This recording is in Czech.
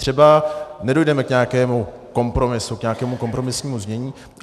Třeba nedojdeme k nějakému kompromisu, k nějakému kompromisnímu znění.